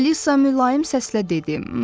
Alisa mülayim səslə dedi.